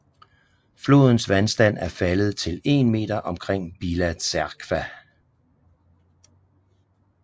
Flodens vandstand er faldet til 1 meter omkring Bila Tserkva